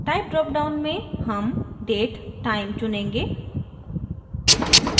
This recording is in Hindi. type dropdown में हम date time चुनेंगे